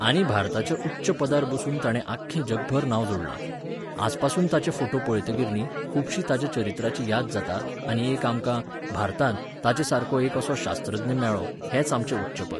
आनी भारताच्या उच्च पदार बसून ताणें आख्खें जगभर नांव जोडलां. आजपसून ताचे फोटू पळयतकीर न्ही, खुबशी ताच्या चरित्राची याद जाता आनी एक आमकां, भारतांत, ताचेसारको एक असो शास्त्रज्ञ मेळ्ळो हेंच आमचें उच्चपद.